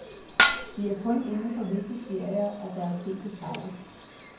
Det er kun inden for visse serier, at der er sket fejl.